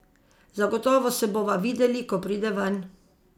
Zagotovo se bova videli, ko pride ven.